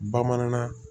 Bamanankan